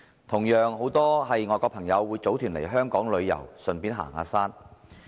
同樣，很多外國朋友會組團來港旅遊，順便行山。